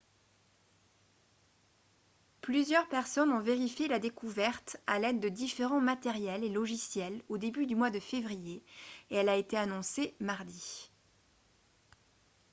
plusieurs personnes ont vérifié la découverte à l'aide de différents matériels et logiciels au début du mois de février et elle a été annoncée mardi